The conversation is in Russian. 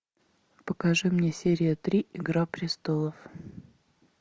покажи мне серия три игра престолов